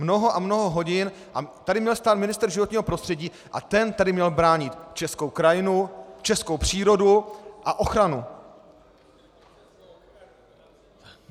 Mnoho a mnoho hodin a tady měl stát ministr životního prostředí a ten tady měl bránit českou krajinu, českou přírodu a ochranu.